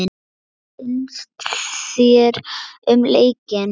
Hvað fannst þér um leikinn?